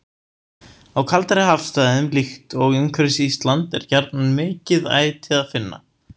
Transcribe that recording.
Á kaldari hafsvæðum, líkt og umhverfis Ísland, er gjarnan mikið æti að finna.